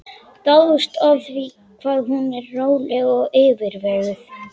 Dáðst að því hvað hún er róleg og yfirveguð.